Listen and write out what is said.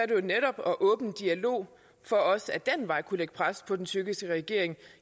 det netop at åbne en dialog for også ad den vej at kunne lægge pres på den tyrkiske regering